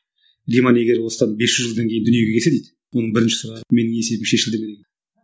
риман егер осыдан бес жүз жылдан дүниеге келсе дейді оның бірінші сұрағы менің есебім шешілді ме дейді